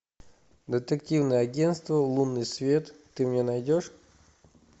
детективное агенство лунный свет ты мне найдешь